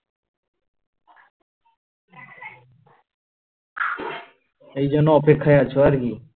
এই জন্য অপেক্ষায় আছো আর কি